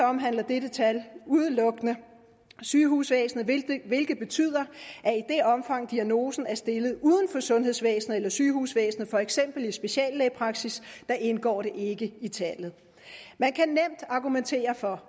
omhandler dette tal udelukkende sygehusvæsenet hvilket betyder at omfang diagnosen er stillet uden for sundhedsvæsenet eller sygehusvæsenet for eksempel i speciallægepraksis indgår det ikke i tallet man kan nemt argumentere for